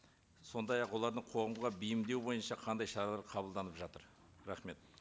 сондай ақ олардың қоғамға бейімдеу бойынша қандай шаралар қабылданып жатыр рахмет